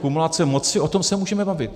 Kumulace moci, o tom se můžeme bavit.